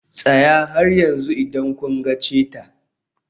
Tsaya har yanzu idan kun ga cheetah.